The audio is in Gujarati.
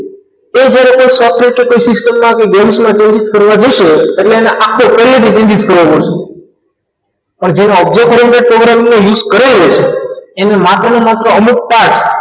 એ જ્યારે કોઈ software કે શીખેલ ન હોય કે games માં કેવી રીતે કરવા જશે એટલે એને પહેલેથી જ આખો course કરવો પડશે જેને object નો use કરેલ હશે એમને માત્ર ને માત્ર અમુક task